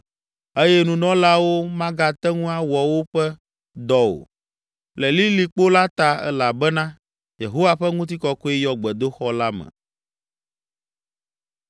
eye nunɔlaawo magate ŋu awɔ woƒe dɔ o, le lilikpo la ta elabena Yehowa ƒe ŋutikɔkɔe yɔ gbedoxɔ la me.